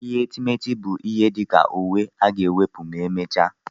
Ihe etemeete bụ kwa ihe dị ka uwe a ga-ewepụ ma e mechaa.